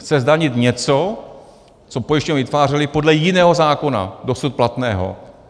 Chce zdanit něco, co pojišťovny vytvářely podle jiného zákona, dosud platného.